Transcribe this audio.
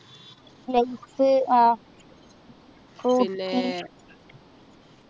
lace ah Frooti